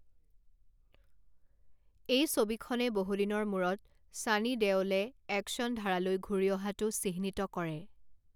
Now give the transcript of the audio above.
এই ছবিখনে বহুদিনৰ মূৰত ছানী দেওলে একশ্যন ধাৰালৈ ঘূৰি অহাটো চিহ্নিত কৰে।